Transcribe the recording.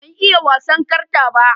Ban iya wasan karta ba.